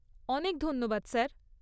অনেক ধন্যবাদ স্যার।